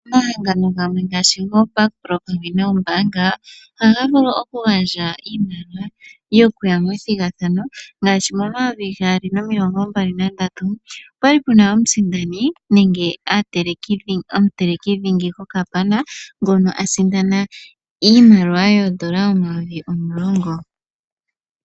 Omahangano gamwe ngaashi gooBakpro pamwe noombaanga, ohaga vulu okugandja iimaliwa yokuya methigathano ngaashi momayovi gaali nomilongombali nandatu opwa li pu na omusindani nenge omuteleki dhingi gokapana ngono a sindana iimaliwa yoodola omayovi omulongo.